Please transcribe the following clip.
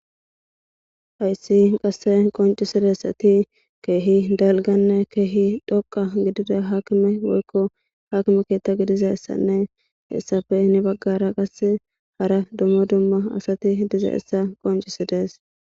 Hayssi qase qoncisizaysi keehi dhoqqanne keehi dalgg gidida haakime woykko haakime keetta gelizayssanne hessappe heeni baggara qase hara dumma dumma asati dizayssa qonccisides.